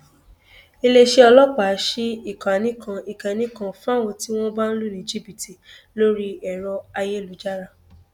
iléeṣẹ ọlọpàá sí ìkànnì kan ìkànnì kan fáwọn tí wọn bá lù ní jìbìtì lórí ẹrọ ayélujára